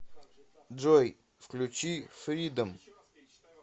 джой включи фридом